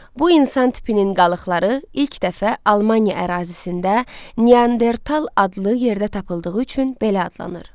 Bu insan tipinin qalıqları ilk dəfə Almaniya ərazisində Neandertal adlı yerdə tapıldığı üçün belə adlanır.